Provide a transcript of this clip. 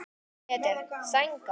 Pétur: Sængað?